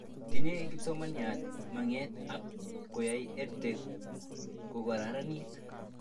Tinye kipsomanik mag'et ab koyai EdTech kokararnit